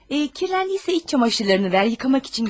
Kirləndisə iç çamaşırlarını ver, yıkamaq üçün götürüm.